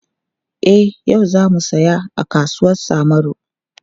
E, yau za mu saya a kasuwar Samaru.